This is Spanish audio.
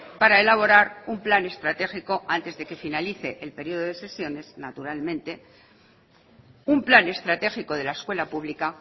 para elaborar un plan estratégico antes de que finalice el periodo de sesiones naturalmente un plan estratégico de la escuela pública